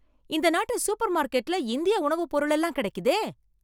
இந்த நாட்டு சூப்பர்மார்க்கெட்ல இந்திய உணவுப் பொருளெல்லாம் கிடைக்குதே!